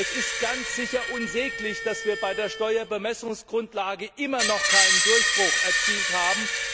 Es ist ganz sicher unsäglich, dass wir bei der Steuerbemessungsgrundlage immer noch keinen Durchbruch erzielt haben.